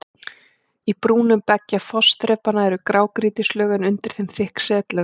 Í brúnum beggja fossþrepanna eru grágrýtislög en undir þeim þykk setlög.